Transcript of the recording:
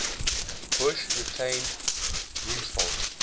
bush retained rumsfeld